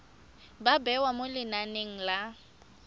ba bewa mo lenaneng la